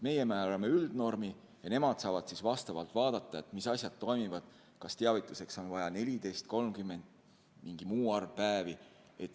Meie määrame üldnormi ja nemad saavad vastavalt vaadata, mis asjad toimivad ja kas teavituseks on vaja 14, 30 või mingi muu arv päevi.